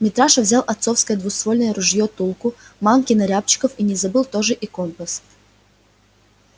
митраша взял отцовское двуствольное ружье тулку манки на рябчиков и не забыл тоже и компас